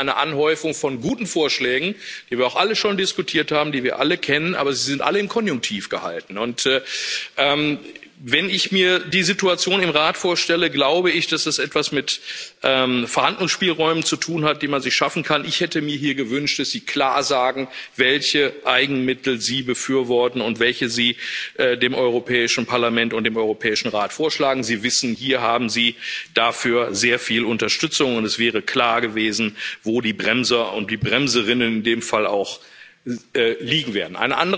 Ich glaube, er ist angemessen im Umfang und auch in der Zielsetzung. Ich bin ein bisschen enttäuscht über Ihre Mutlosigkeit bei den Eigenmitteln. Auf einer ganzen Seite lese ich eine Anhäufung von guten Vorschlägen, über die wir auch alle schon diskutiert haben, die wir alle kennen, aber sie sind alle im Konjunktiv gehalten. Wenn ich mir die Situation im Rat vorstelle, glaube ich, dass es etwas mit Verhandlungsspielräumen zu tun hat, die man sich schaffen kann. Ich hätte mir gewünscht, dass Sie klar sagen, welche Eigenmittel Sie befürworten und welche Sie dem Europäischen Parlament und dem Europäischen Rat vorschlagen. Sie wissen, hier haben Sie dafür sehr viel Unterstützung, und es wäre klar gewesen, wo die Bremser und die Bremserinnen in dem Fall liegen